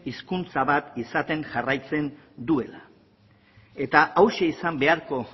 hizkuntza bat izaten jarraitzen duela eta hauxe izan beharko